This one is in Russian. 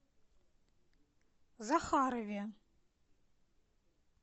захарове